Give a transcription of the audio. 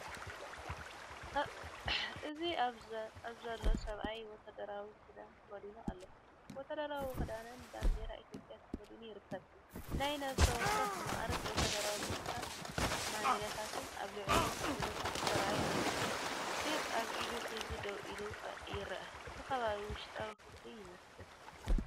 እዚ ኣብዚ ዘሎ ሰብኣይ ወተሃደራዊ ክዳን ተኸዲኑ ኣሎ። ወተሃደራዊ ክዳንን ባንዴራ ኢትዮጵያ ተኸዲኑ ይርከብ። ናይ ነፍሲ ወከፍ መዓርግ ወተሃደራዊ ምልክታትን መዳልያታትን ኣብ ልዕሊኡ ብንጹር ተራእዩ ኣሎ። ሰይፊ ኣብ ኢዱ ሒዙ ደው ኢሉ ይረአ። እቲ ከባቢ ውሽጣዊ ክፍሊ ይመስል።